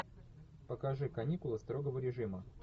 покажи каникулы строгого режима